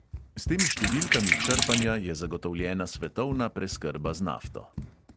S temi številkami črpanja je zagotovljena svetovna preskrba z nafto.